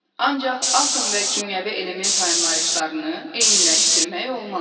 Ancaq atom və kimyəvi element anlayışlarını eyniləşdirmək olmaz.